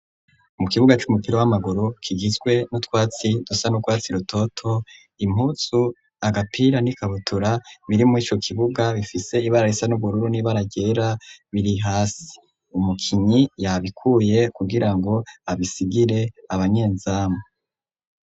Mu kibuga c'umupira w'amaguru kigizwe n'utwatsi dusa n'urwatsi rutoto, impuzu agapira n'ikabutura biri mw'ico kibuga bifise ibara risa n'ubururu n'ibara ryera biri hasi, umukinyi yabikuye kugira ngo abisigire abanyenzamu.